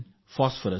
ನಮ್ಮ ರೈತರಿಗೆ ಎನ್